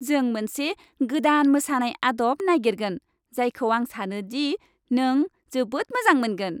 जों मोनसे गोदान मोसानाय आदब नागिरगोन, जायखौ आं सानो दि नों जोबोद मोजां मोनगोन।